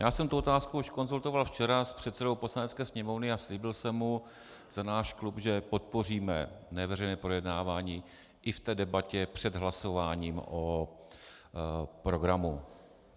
Já jsem tu otázku už konzultoval včera s předsedou Poslanecké sněmovny a slíbil jsem mu za náš klub, že podpoříme neveřejné projednávání i v té debatě před hlasováním o programu.